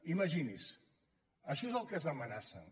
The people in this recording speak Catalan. imagini’s això és del que ens amenacen